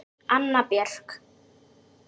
Anna Björk.